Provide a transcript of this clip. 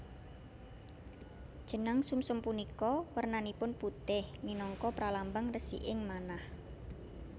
Jenang sumsum punika wernanipun putih minangka pralambang resiking manah